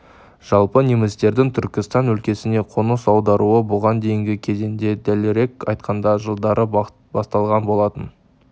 жалпы немістердің түркістан өлкесіне қоныс аударуы бұған дейінгі кезеңде дәлірек айтқанда жылдары басталған болатын